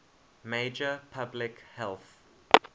major public health